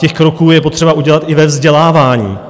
Těch kroků je potřeba udělat i ve vzdělávání.